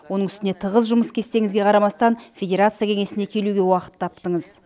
оның үстіне тығыз жұмыс кестеңізге қарамастан федерация кеңесіне келуге уақыт таптыңыз